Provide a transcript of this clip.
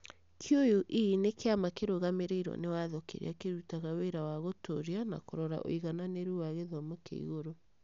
CUE nĩ kĩama kĩrũgamĩrĩrwo nĩ watho kĩrĩa kĩrutaga wĩra wa gũtũũria na kũrora ũigananĩru wa gĩthomo kĩa igũrũ.